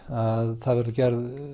að það verður gerð